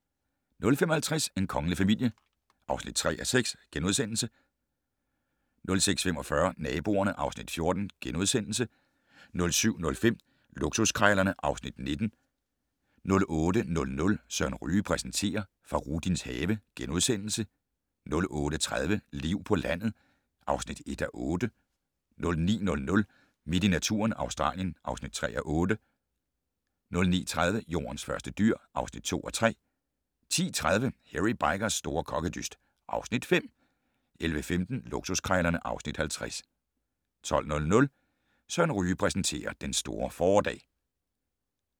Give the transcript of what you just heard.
05:50: En kongelig familie (3:6)* 06:45: Naboerne (Afs. 14)* 07:05: Luksuskrejlerne (Afs. 19) 08:00: Søren Ryge præsenterer: Fahrudins have * 08:30: Liv på landet (1:8) 09:00: Midt i naturen - Australien (3:8) 09:30: Jordens første dyr (2:3) 10:30: Hairy Bikers' store kokkedyst (Afs. 5) 11:15: Luksuskrejlerne (Afs. 50) 12:00: Søren Ryge præsenterer: Den store fåredag